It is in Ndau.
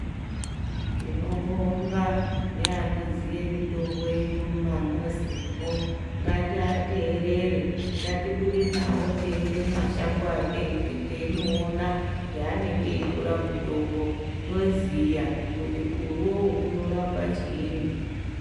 Tinobonga neanoziye mitombo yedu mumamuzimo ngatiateerere, ngatibude nawo teiende mumashango teinoona paanege eitora mutombo toziya kuti iwowo unorapa chiini.